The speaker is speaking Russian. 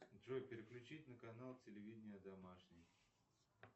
джой переключить на канал телевидения домашний